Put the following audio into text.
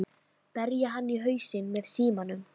Berja hann í hausinn með símanum?